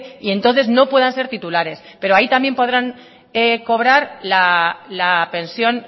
y entonces no puedan ser titulares pero ahí también podrán cobrar la pensión